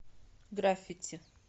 граффити